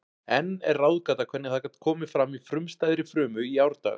Enn er ráðgáta hvernig það gat komið fram í frumstæðri frumu í árdaga.